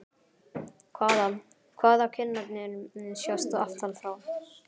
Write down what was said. Hvaða, hvaða- kinnarnar sjást aftan frá!